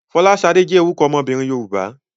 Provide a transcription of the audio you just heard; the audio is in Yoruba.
Fọláṣadé jẹ́ orúkọ ọmọbìnrin Yorùbá.